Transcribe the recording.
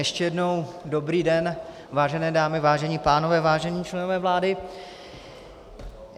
Ještě jednou dobrý den, vážené dámy, vážení pánové, vážení členové vlády.